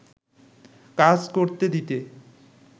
কাজ করতে দিতে